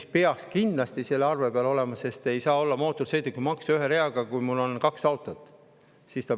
See peaks kindlasti selle arve peal olema, sest ei saa olla mootorsõidukimaksu ühe reaga, kui mul on kaks autot.